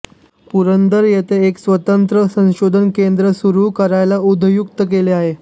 पुरंदर येथे एक स्वतंत्र संशोधन केंद्र सुरू करायला उद्युक्त केले आहे